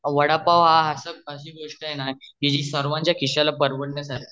वडा पाव हि अशी गोष्ट आहे न जी सर्वांच्या खिश्याला परवडण्यासारखी आहे